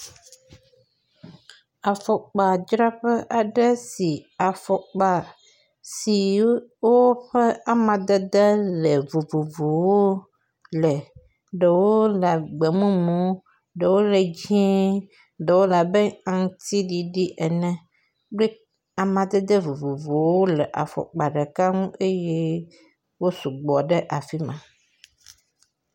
Afɔkpadzraƒe aɖe si afɔkpa si ƒe amadede vovovowo le. Ɖewo gbe mumu, ɖewo le dzɛ̃, ɖewo le abe aŋuti ɖiɖi ene, …